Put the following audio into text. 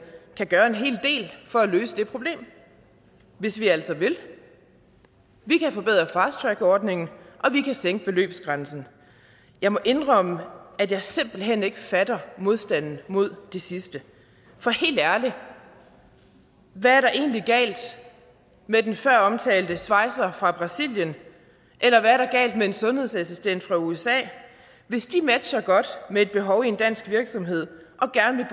kan gøre en hel del for at løse det problem hvis vi altså vil vi kan forbedre fast track ordningen og vi kan sænke beløbsgrænsen jeg må indrømme at jeg simpelt hen ikke fatter modstanden mod det sidste for helt ærligt hvad er der egentlig galt med den føromtalte svejser fra brasilien eller hvad er der galt med en sundhedsassistent fra usa hvis de matcher godt med et behov i en dansk virksomhed og gerne